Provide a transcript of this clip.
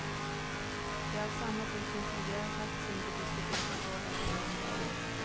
De är av samma typ som tidigare har kastats in på diskotek och vållat lungskador.